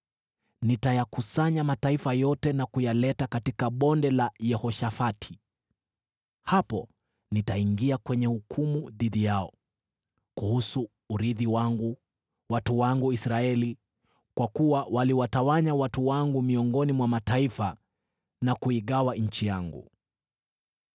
nitayakusanya mataifa yote na kuyaleta katika Bonde la Yehoshafati Hapo nitaingia kwenye hukumu dhidi yao kuhusu urithi wangu, watu wangu Israeli, kwa kuwa waliwatawanya watu wangu miongoni mwa mataifa na kuigawa nchi yangu.